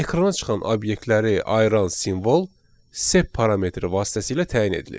Ekrana çıxan obyektləri ayıran simvol sep parametri vasitəsilə təyin edilir.